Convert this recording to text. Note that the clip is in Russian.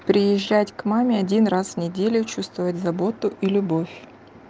приезжать к маме один раз в неделю чувствует заботу и любовь